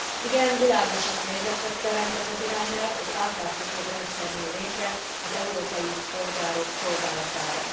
Igen, világosabb helyzetet teremt ez az irányelv, egy átláthatóbb rendszer jön létre az európai polgárok szolgálatában.